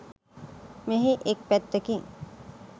මෙහි එක් පැත්තකින්